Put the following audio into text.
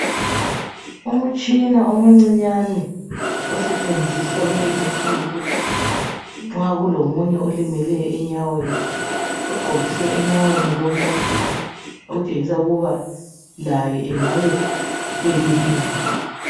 Umtshina umncinyane osetshenziswa kulezi insuku nxa kulomunye olimeleyo enyaweni . Ugqokiswe enyaweni lo muntu okuthengisa ukuba laye engabe elimele.